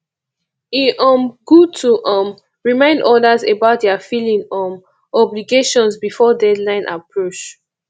e um good to um remind others about their filing um obligations before deadline approach